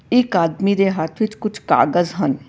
ਇਕ ਆਦਮੀ ਦੇ ਹੱਥ ਵਿੱਚ ਕੁਝ ਕਾਗਜ਼ ਹਨ।